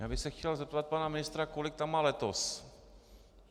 Já bych se chtěl zeptat pana ministra, kolik tam má letos.